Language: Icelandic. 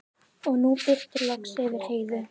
Og nú birti loks yfir Heiðu.